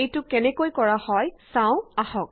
এইটো কেনেকৈ কৰা হয় চাও আহক